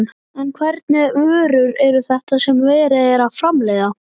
En hvernig vörur eru þetta sem verið er að framleiða?